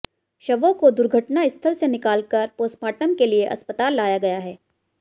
शवों को दुर्घटनास्थल से निकालकर पोस्टमॉर्टम के लिये अस्पताल लाया गया है